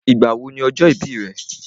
Ìgbà wo ni ọjọ́ ìbí rẹ̀?